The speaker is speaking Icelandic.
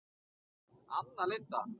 Anna Linda.